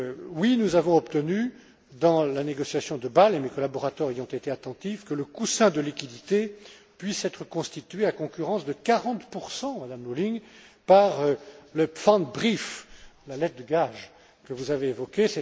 Oui, nous avons obtenu, dans la négociation de Bâle, et mes collaborateurs y ont été attentifs, que le coussin de liquidités puisse être constitué à concurrence de 40 Madame Lulling, par le Pfandbrief la lettre de gage, que vous avez évoquée.